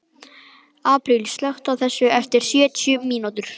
Apríl, slökktu á þessu eftir sjötíu mínútur.